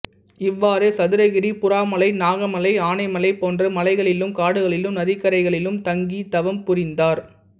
இவ்வாறே சதுரகிரி புறாமலை நாகமலை ஆனைமலை போன்ற மலைகளிலும் காடுகளிலும் நதிக்கரைகளிலும் தங்கித் தவம் புரிந்தார்